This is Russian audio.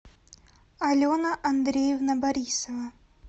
алена андреевна борисова